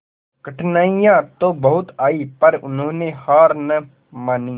कठिनाइयां तो बहुत आई पर उन्होंने हार ना मानी